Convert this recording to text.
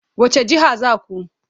Wace jiha za ku?